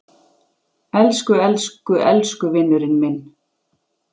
Elsku elsku elsku vinurinn minn.